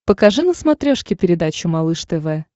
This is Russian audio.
покажи на смотрешке передачу малыш тв